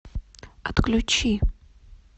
отключи